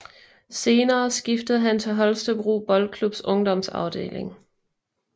Senere skiftede han til Holstebro Boldklubs ungdomsafdeling